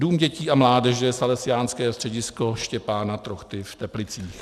Dům dětí a mládeže Salesiánské středisko Štěpána Trochty v Teplicích.